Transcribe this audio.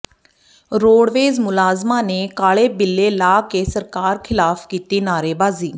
roadways ਮੁਲਾਜ਼ਮਾਂ ਨੇ ਕਾਲੇ ਬਿੱਲੇ ਲਾ ਕੇ ਸਰਕਾਰ ਖ਼ਿਲਾਫ਼ ਕੀਤੀ ਨਾਅਰੇਬਾਜ਼ੀ